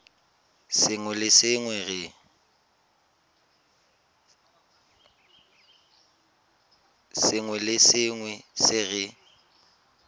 sengwe le sengwe se re